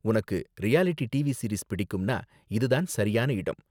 உனக்கு reality TV series பிடிக்கும்னா, இது தான் சரியான இடம்.